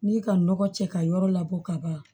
N'i ka nɔgɔ cɛ ka yɔrɔ labɔ ka ban